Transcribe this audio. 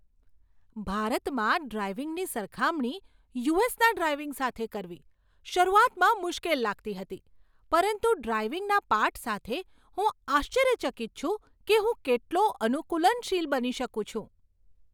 ભારતમાં ડ્રાઇવિંગની સરખામણી યુ.એસ.ના ડ્રાઇવિંગ સાથે કરવી શરૂઆતમાં મુશ્કેલ લાગતી હતી, પરંતુ ડ્રાઇવિંગના પાઠ સાથે, હું આશ્ચર્યચકિત છું કે હું કેટલો અનુકૂલનશીલ બની શકું છું!